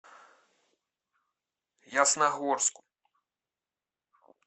ясногорску